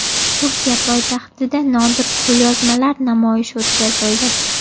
Turkiya poytaxtida nodir qo‘lyozmalar namoyishi o‘tkazildi.